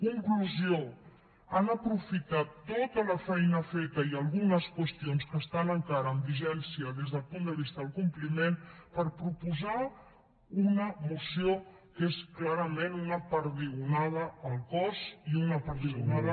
conclusió han aprofitat tota la feina feta i algunes qüestions que estan encara en vigència des del punt de vista del compliment per proposar una moció que és clarament una perdigonada al cos i una perdigonada